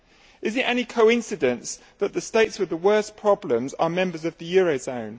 Is it any coincidence that the states with the worst problems are members of the eurozone?